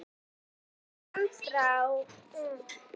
En í sömu andrá kviknaði þykjast í kofanum.